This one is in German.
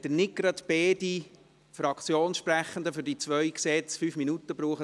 Wir sind Ihnen dankbar, wenn nicht gleich beide Fraktionssprechende für die zwei Gesetze je 5 Minuten brauchen.